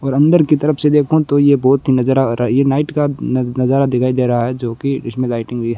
और अंदर की तरफ से देखूं तो ये बहुत ही नज़र आ रहा है ये नाइट का नज़ारा दिखाई दे रहा है जो कि इसमें लाइटिंग भी है।